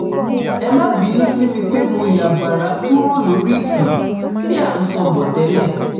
ẹ má bínú sí mi pé mo yá bàrá kúrò lórí ìtàn tí à ń à ń sọ bọ̀ tẹ́lẹ̀